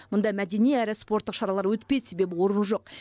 мұнда мәдени әрі спорттық шаралар өтпейді себебі орын жоқ